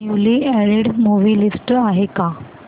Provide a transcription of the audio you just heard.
newly added movie list आहे का